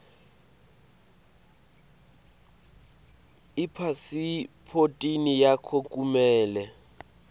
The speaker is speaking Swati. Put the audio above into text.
ipasiphothi yakho kumele